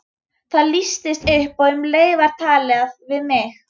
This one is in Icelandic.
Það lýstist upp og um leið var talað til mín.